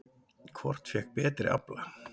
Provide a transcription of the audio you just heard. Hvort fékk betri afla?